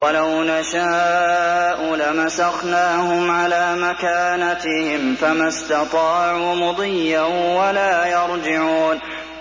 وَلَوْ نَشَاءُ لَمَسَخْنَاهُمْ عَلَىٰ مَكَانَتِهِمْ فَمَا اسْتَطَاعُوا مُضِيًّا وَلَا يَرْجِعُونَ